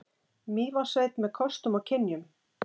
Mývatnssveit með kostum og kynjum.